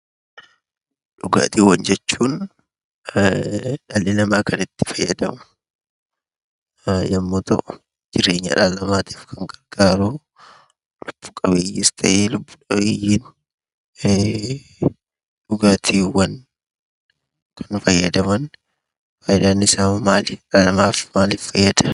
Dhugaatiiwwan jechuun dhali namaa kanitti fayyadamu yommuu ta'u, jireenya dhala namaatiif kan gargaaru lubbu dhabeeyyiis ta'e lubbu qabeeyyiin kan fayyadaman faayidaan isaanii hoo maali? Maal fayyada?